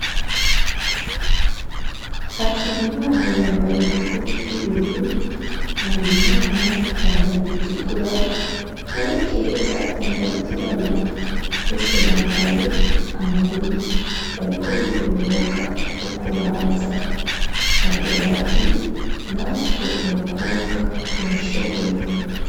Hatungimana yambaye ikoti ry'ubururu harera imana yambaye iritukura na yo keza yambaye iryirabura bose bambaye amarori bariko biga umwuga wo kubaza bagira bati natwe abakobwa turashoboye.